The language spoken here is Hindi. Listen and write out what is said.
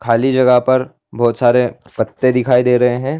खाली जगह पर बहुत सारे पत्ते दिखाई दे रहे हैं।